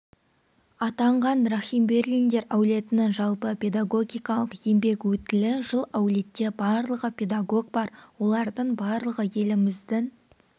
атанған рахимберлиндер әулетінің жалпы педагогикалық еңбек өтілі жыл әулетте барлығы педагог бар олардың барлығы еліміздің